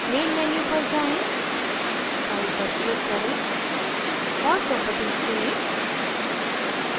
main menu पर जाएँ file पर click करें और properties चुनें